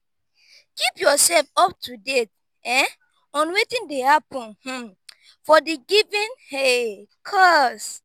keep yourself up to date um on wetin dey happen um for di given um cause